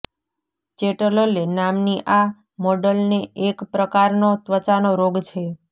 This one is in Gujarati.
ચેટલલે નામની આ મોડલને એક પ્રકારનો ત્વચાનો રોગ છે